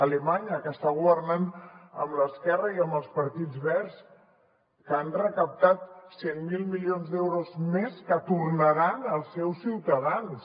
alemanya que està governant amb l’esquerra i amb els partits verds que han recaptat cent miler milions d’euros més que tornaran als seus ciutadans